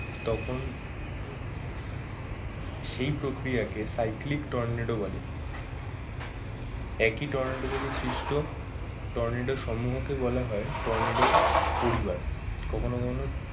তখন সেই প্রক্রিয়াকে সাইক্রিলিক টর্নেডো বলে। একই টর্নেডো থেকে সৃষ্ট টর্নেডো সম্মূহ কে বলা হয় টর্নেডো পরিবার কখনো কখনো